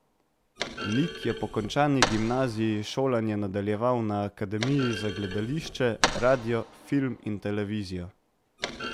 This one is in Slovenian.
Nik je po končani gimnaziji šolanje nadaljeval na Akademiji za gledališče, radio, film in televizijo.